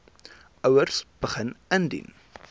ouers begin indien